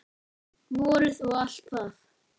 Vorið og allt það.